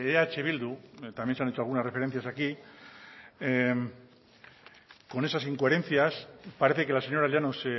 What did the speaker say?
eh bildu también se ha hecho algunas referencias aquí con esas incoherencias parece que la señora llanos